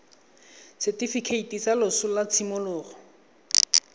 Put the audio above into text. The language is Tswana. setifikeiti sa loso sa tshimologo